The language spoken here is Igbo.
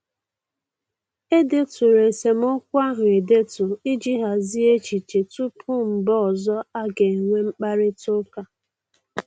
E deturu esemokwu ahụ edetu iji hazie echiche tupu mgbe ọzọ a ga-enwe mkparịta ụka